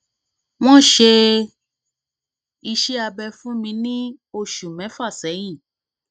wọn ṣe iṣẹ abẹ fún mi ní oṣù mẹfà sẹyìn